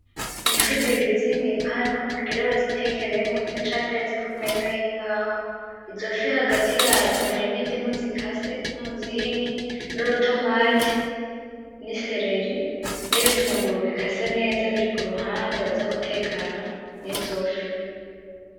Ni ifi zibiri ziri mwipanu bagira bazitekeyemo iracateretse kumeza yimbaho izofi hagati yazo harimo indimu zikase nuruzingi, nurutomate, nisereri nibitunguru bikase neza biri kuruhande baza gutekana nizofi.